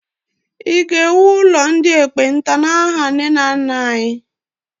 I ga-ewu ụlọ ndị ekpenta n'aha nne na nna anyị!